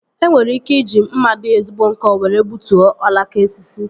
E nwere ike iji mma dị ezigbo nkọ were gbutuo alaka osisi